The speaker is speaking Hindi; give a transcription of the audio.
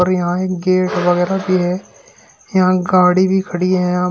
और यहां एक गेट वगैरा भी है। यहां गाड़ी भी खड़ी है। यहाँ --